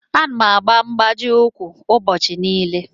Ana m eyi mgbaji ukwu ụbọchị niile.